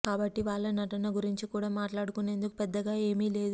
కాబట్టి వాళ్ళ నటన గురించి కూడా మాట్లాడుకునేందుకు పెద్దగా ఏమి లేదు